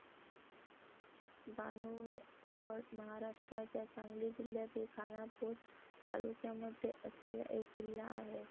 बाणूरगड महाराष्ट्राच्या सांगली जिल्यातील खानापूर तालुक्यामध्ये असलेला एक किल्ला आहे.